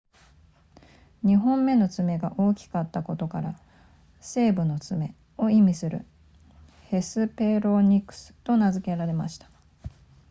2本目の爪が大きかったことから西部の爪を意味するヘスペロニクスと名付けられました